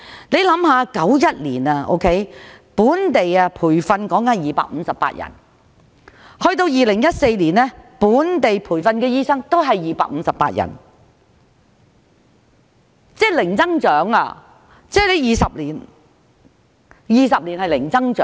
1991年本地培訓的醫生每年258人，但到了2014年依然是258人，即是過去20多年一直是零增長。